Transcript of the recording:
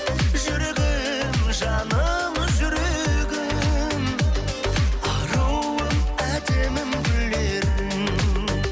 жүрегім жаным жүрегім аруым әдемім гүл едің